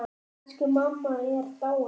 Elsku mamma er dáin.